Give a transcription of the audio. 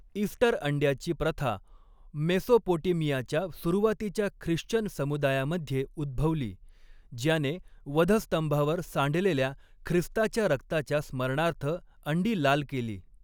Easter अंड्याची प्रथा मेसोपोटेमियाच्या सुरुवातीच्या ख्रिश्चन समुदायामध्ये उद्भवली, ज्याने वधस्तंभावर सांडलेल्या ख्रिस्ताच्या रक्ताच्या स्मरणार्थ अंडी लाल केली.